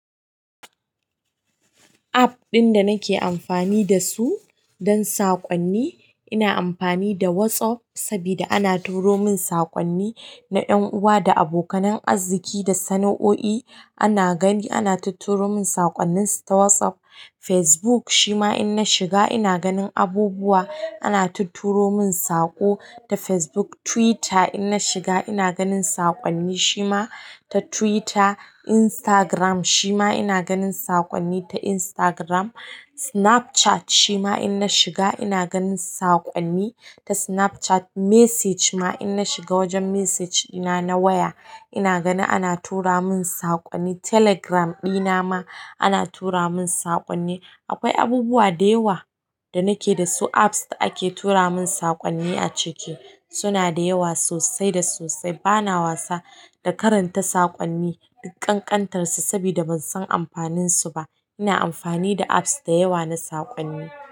App ɗin da nake amfani da su don saƙonni, ina amfani da WhatsApp sabida ana turo min saƙonni na yan'uwa da abokanan arziki da sana'o'i. Ana gani ana tuturo min saƙonninsu ta WhatsApp. Facebook shima in na shiga ina ganin abubuwa ana tuturo min saƙo ta Facebook. Twitter in na shiga ina ganin saƙonni shima ta Twitter. Instagram shima ina ganin saƙonni ta Instagram. Snapchat shima in na shiga ina ganin saƙonni ta Snapchat. Message ma in na shiga wajen message dina na waya ina gani ana tura mun saƙonni. Telegram dina ma ana tura mun saƙonni. Akwai abubuwa da yawa da nake da su apps da ake tura mun saƙonni a ciki. Suna da yawa sosai da sosai. Bana wasa da karanta saƙonni duk ƙanƙantarsu saboda ban san amfaninsu ba. Ina amfani da apps da yawa na saƙonni.